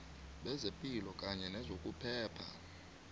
bezepilo kanye nezokuphepha